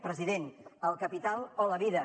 president el capital o la vida